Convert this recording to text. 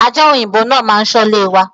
Aja òyìnbó náà ma ṣọ ilé wa